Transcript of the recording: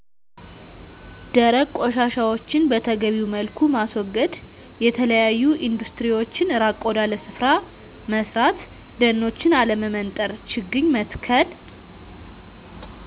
ደረቅ ቆሻሻዎችን በተገቢዉ መልኩ ማስወገድ፣ የተለያዮ ኢንዱስትሪዎችን ራቅ ወዳለ ስፍራ መስራት ደኖችን አለመመንጠር፣ ችግኝ መትከል